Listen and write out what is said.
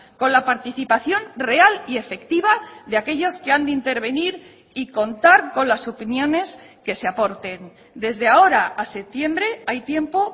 con la participación real y efectiva de aquellos que han de intervenir y contar con las opiniones que se aporten desde ahora a septiembre hay tiempo